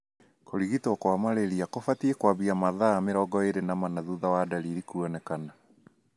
Kũrigitwo kwa malaria kũbatie kwambia mathaa 24 thutha wa ndariri kũonekana.